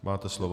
Máte slovo.